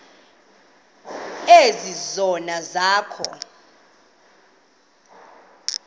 ezi zono zakho